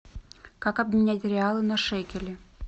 как обменять реалы на шекели